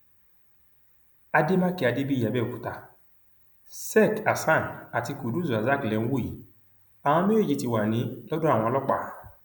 àdèmàkè adébíyì àbẹòkúta sek hasan àti kudus rasak lè ń wò yìí àwọn méjèèjì ti wá ní lọdọ àwọn ọlọpàá